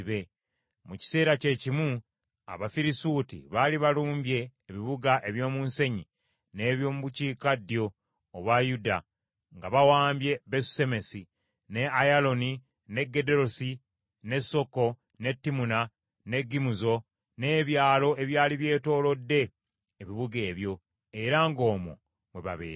Mu kiseera kyekimu Abafirisuuti baali balumbye ebibuga eby’omu nsenyi n’eby’omu bukiikaddyo obwa Yuda, nga bawambye Besusemesi, ne Ayalooni, ne Gederosi, ne Soko, ne Timuna, ne Gimuzo n’ebyalo ebyali byetoolodde ebibuga ebyo, era ng’omwo mwe babeera.